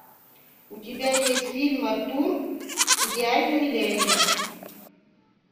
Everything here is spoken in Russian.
у тебя есть фильм артур идеальный миллионер